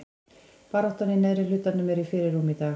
Baráttan í neðri hlutanum er í fyrirrúmi í dag.